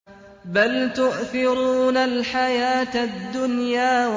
بَلْ تُؤْثِرُونَ الْحَيَاةَ الدُّنْيَا